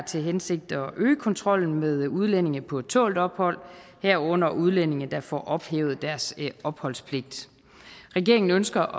til hensigt at øge kontrollen med udlændinge på tålt ophold herunder udlændinge der får ophævet deres opholdspligt regeringen ønsker